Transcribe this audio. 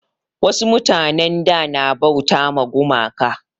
Wasu mutanin da na bauta ma gumaka